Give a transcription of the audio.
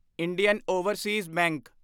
Indian Overseas bank